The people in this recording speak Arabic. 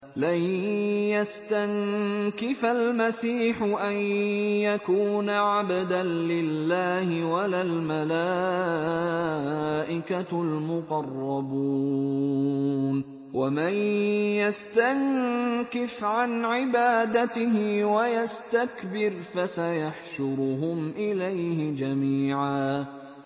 لَّن يَسْتَنكِفَ الْمَسِيحُ أَن يَكُونَ عَبْدًا لِّلَّهِ وَلَا الْمَلَائِكَةُ الْمُقَرَّبُونَ ۚ وَمَن يَسْتَنكِفْ عَنْ عِبَادَتِهِ وَيَسْتَكْبِرْ فَسَيَحْشُرُهُمْ إِلَيْهِ جَمِيعًا